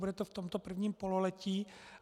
Bude to v tomto prvním pololetí.